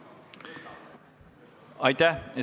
Aitäh!